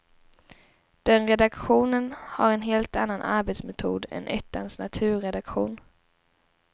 Den redaktionen har en helt annan arbetsmetod än ettans naturredaktion.